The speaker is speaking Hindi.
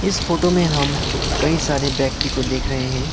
इस फोटो में हम कई सारे व्यक्ति को देख रहे हैं।